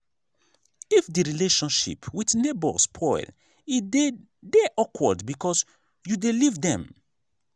if di relationship with neighbour spoil e dey de awkward because you dey live dem